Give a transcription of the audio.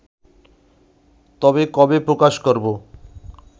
তবে কবে প্রকাশ করব